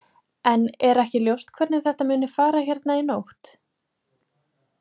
En er ekki ljóst hvernig þetta muni fara hérna í nótt?